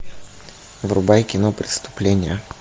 врубай кино преступление